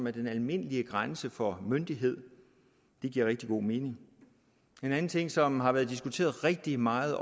er den almindelige grænse for myndighed det giver rigtig god mening en anden ting som har været diskuteret rigtig meget